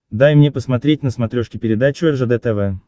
дай мне посмотреть на смотрешке передачу ржд тв